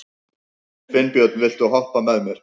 Finnbjörn, viltu hoppa með mér?